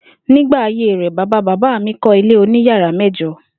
Nígbà ayé rè̩, bàbá bàbá mi kó̩ ilé oníyàrá mé̩jo̩